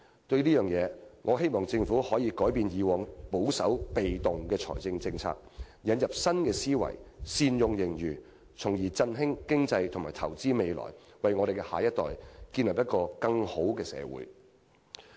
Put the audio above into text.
對此，我希望政府可以改變過往保守、被動的財政政策，引入新思維善用盈餘，從而振興經濟和投資未來，為我們的下一代建立一個更美好的社會。